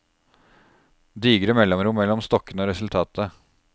Digre mellomrom mellom stokkene er resultatet.